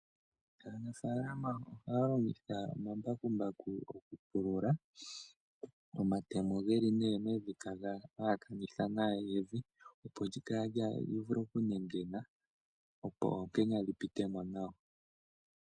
Aanafaalama ohaya longitha omambakumbaku okupulula, omatemo ge li nee mevi taga halakanitha nawa evi, opo evi li vule okunengena, opo oonkenya dhi pite mo nawa.